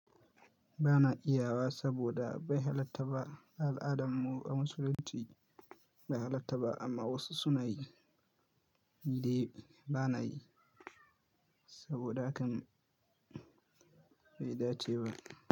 Ba na iya wa saboda bai halattta ba. Al'adan mu a musulunci bai halatta ba amma wasu suna yi. Ni dai ba na yi saboda hakan bai dace ba.